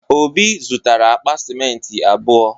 Obi zụtara akpa simenti abụọ.